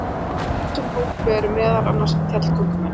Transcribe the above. í þessum hópi eru meðal annars fjallgöngumenn